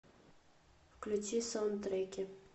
включи саундтреки